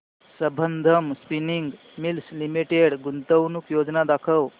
Sambandam spinning mills limited गुंतवणूक योजना दाखव